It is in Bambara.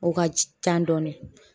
O ka ca dɔɔni